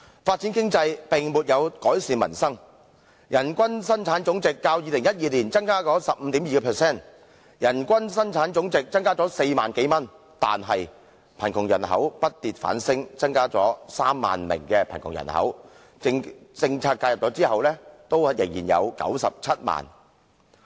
發展經濟並沒有改善民生，人均生產總值較2012年增加 15.2%， 即增加了4萬多元，但貧窮人口卻不跌反升，增加 30,000 名貧窮人口，即使在政策介入後，仍有 970,000 人。